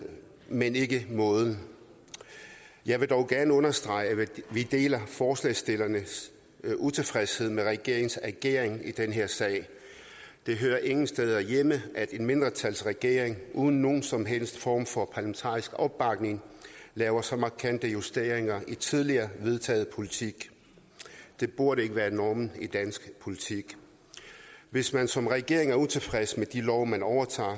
men ikke måden jeg vil dog gerne understrege at vi deler forslagsstillernes utilfredshed med regeringens ageren i den her sag det hører ingen steder hjemme at en mindretalsregering uden nogen som helst form for parlamentarisk opbakning laver så markante justeringer i tidligere vedtaget politik det burde ikke være normen i dansk politik hvis man som regering er utilfreds med de love man overtager